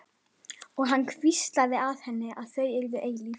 Og hann hvíslaði að henni að þau yrðu eilíf.